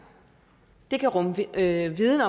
det kan rumme viden viden